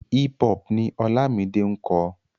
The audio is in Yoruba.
Hip hop ni Ọlámide ń kọ.